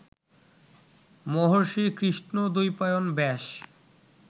মহর্ষি কৃষ্ণদ্বৈপায়ন ব্যাস